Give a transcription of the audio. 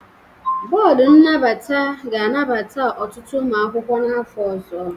Bọọdụ nnabata ga-anabata ọtụtụ ụmụ akwụkwọ n'afọ ọzọ.